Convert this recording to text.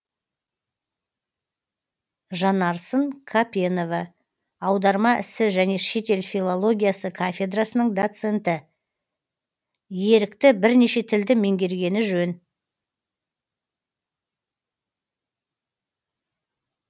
жанарсын қапенова аударма ісі және шетел филологиясы кафедрасының доценті ерікті бірнеше тілді меңгергені жөн